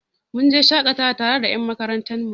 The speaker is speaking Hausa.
Mun je shaƙatawa tare da ƴan makarantar mu.